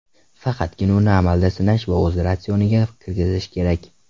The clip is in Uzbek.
Faqatgina uni amalda sinash va o‘z ratsioniga kirgizish kerak.